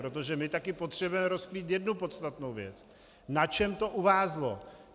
Protože my taky potřebujeme rozkrýt jednu podstatnou věc: Na čem to uvázlo.